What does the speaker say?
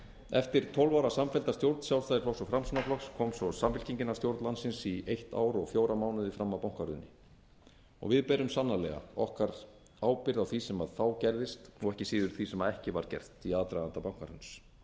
eftir tólf ára samfellda stjórn sjálfstæðisflokks og framsóknarflokks kom svo samfylkingin að stjórn landsins í eitt ár og fjóra mánuði fram að bankahruni og við berum sannarlega okkar ábyrgð á því sem gerðist og ekki síður því sem ekki var gert í aðdraganda bankahruns